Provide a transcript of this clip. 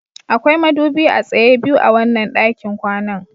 Akwai madubi a tsaye biyu a wannan ɗakin kwanan